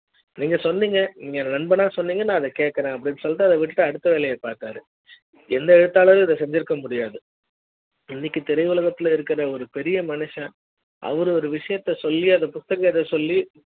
நீங்க சொன்னிங்க நீங்க நண்பனா சொன்னிங்க நான் கேக்குறேன் அப்படினு சொல்லிட்டு அத விட்டுட்டு அடுத்த வேலைய பாத்தாரு எந்த எழுத்தாளரும் இத செஞ்சிருக்க முடியாது இன்றைக்கு திரையுலக த்துல இருக்குற ஒரு பெரிய மனுஷன் அவர் ஒரு விஷயத்தைச் சொல்லி அந்த புத்தகத்த சொல்லி